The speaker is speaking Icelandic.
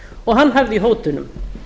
og hann hafði í hótunum